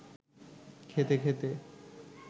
খেতে খেতে